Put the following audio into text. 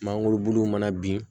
Mangoro bulu mana bin